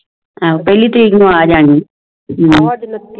ਪਹਿਲੀ ਤਾਰੀਖ ਨੂੰ ਆ ਜਾਣੀ ਐ